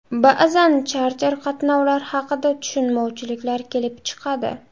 Ba’zan charter qatnovlar haqida tushunmovchiliklar kelib chiqadi.